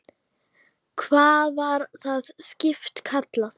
Hvað var það skip kallað?